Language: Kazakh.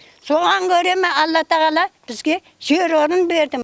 соған көре ме алла тағала бізге жер орын берді